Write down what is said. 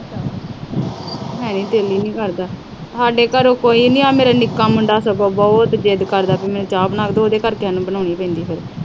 ਸਾਡੇ ਘਰੇ ਕੋਈ ਨੀ ਆ। ਆ ਮੇਰਾ ਨਿੱਕਾ ਮੁੰਡਾ ਸਗੋਂ ਬਹੁਤ ਜਿੱਦ ਕਰਦਾ, ਮੈਨੂੰ ਚਾਹ ਬਣਾ ਕੇ ਦਿਉ ਤੇ ਉਹਦੇ ਕਰਕੇ ਮੈਨੂੰ ਬਣਾਉਣੀ ਪੈਂਦੀ ਆ ਫਿਰ।